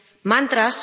mantras